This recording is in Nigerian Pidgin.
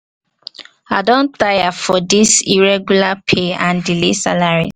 i don tire for this irregular pay and delay salaries.